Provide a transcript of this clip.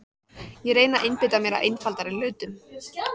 Ég reyni að einbeita mér að einfaldari hlutum.